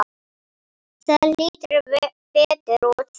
Það lítur betur út þannig.